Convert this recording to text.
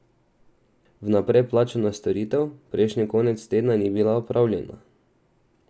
Vnaprej plačana storitev prejšnji konec tedna ni bila opravljena.